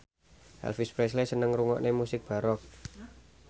Elvis Presley seneng ngrungokne musik baroque